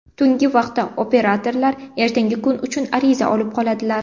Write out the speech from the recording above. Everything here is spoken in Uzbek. Tungi vaqtda operatorlar ertangi kun uchun ariza olib qoladilar.